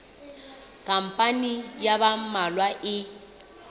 khampani ya ba mmalwa e